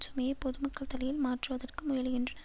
சுமையை பொதுமக்கள் தலையில் மாற்றுவதற்கு முயலுகின்றன